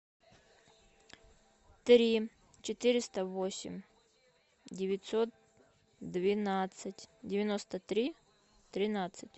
три четыреста восемь девятьсот двенадцать девяносто три тринадцать